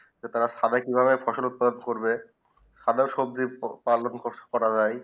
তারা সারা কি ভাবে ফসল উৎপাদন করবে সাগীর সবজি পালন বস করা যায়